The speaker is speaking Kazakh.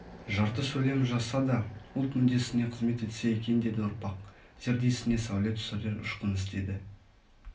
жарты сөйлем жазса да ұлт мүддесіне қызмет етсе екен деді ұрпақ зердесіне сәуле түсірер ұшқын іздеді